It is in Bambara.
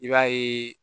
I b'a ye